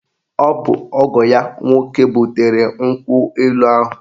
Ọ bụ ọgọ ya nwoke butere nkwụ elu ahụ